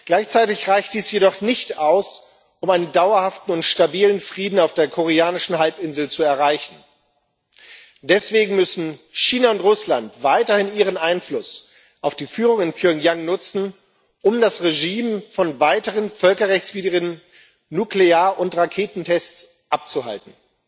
Gleichzeitig reicht dies jedoch nicht aus, um einen dauerhaften und stabilen Frieden auf der Koreanischen Halbinsel zu erreichen. Deswegen müssen China und Russland weiterhin ihren Einfluss auf die Führung in Pjöngjang nutzen, um das Regime von weiteren völkerrechtswidrigen Nuklear und Raketentests abzuhalten.